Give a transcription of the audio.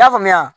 I y'a faamuya